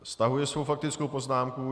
Stahuje svou faktickou poznámku.